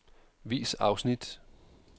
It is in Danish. Vis afsnit.